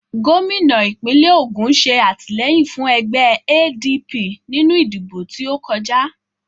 Gómìnà ìpínlẹ̀ Ògùn ṣe àtìlẹ́yìn fún ẹgbẹ́ ADP nínú ìdìbò tí ókọjá